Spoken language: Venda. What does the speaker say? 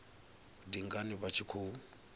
ndi ngani vha tshi khou